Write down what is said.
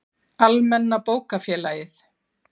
Almenna bókafélagið.